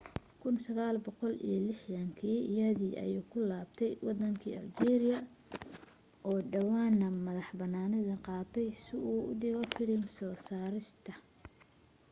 1960yadii ayuu ku laabtay waddanka aljeeriya oo dhowaan madax bannaani qaadatay si uu u dhigo filim soo saarista